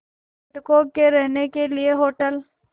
पर्यटकों के रहने के लिए होटल